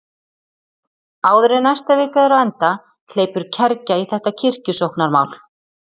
Áður en næsta vika er á enda hleypur kergja í þetta kirkjusóknarmál.